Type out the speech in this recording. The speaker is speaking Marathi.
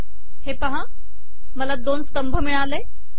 हे पहा मला दोन स्तंभ मिळाले